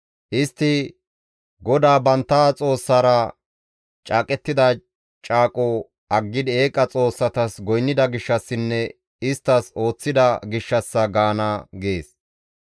«Istti, ‹GODAA bantta Xoossaara caaqettida caaqo aggidi eeqa xoossatas goynnida gishshassinne isttas ooththida gishshassa› gaana» gees.